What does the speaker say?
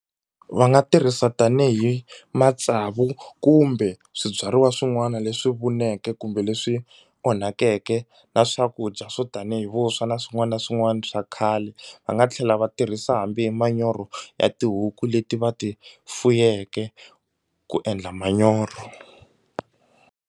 Va nga tirhisa tanihi matsavu kumbe swibyariwa swin'wana leswi vuneke kumbe leswi onhakeke na swakudya swo tanihi vuswa na swin'wana na swin'wana swa khale va nga tlhela va tirhisa hambi hi manyoro ya tihuku leti va ti fuyeke ku endla manyoro.